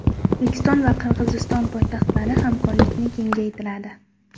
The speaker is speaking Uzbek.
O‘zbekiston va Qirg‘iziston poytaxtlari hamkorlikni kengaytiradi .